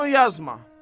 Onu yazma.